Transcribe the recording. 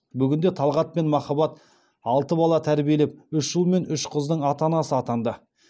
бүгінде талғат пен махаббат алты бала тәрбиелеп үш ұл мен үш қыздың ата анасы атанды